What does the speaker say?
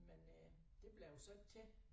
Men øh det blev det så ikke til